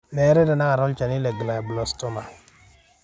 meetai tenaka olchani lemoyian e glioblastoma.